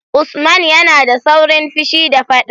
Usman yana da saurin fushi da faɗa.